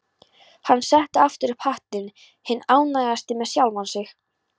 Hann setti aftur upp hattinn, hinn ánægðasti með sjálfan sig.